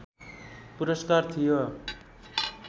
पुरस्कार थियो